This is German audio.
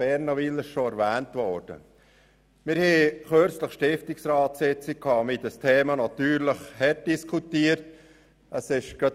Kürzlich führten wir eine Stiftungsratssitzung durch und diskutierten dieses Thema hart.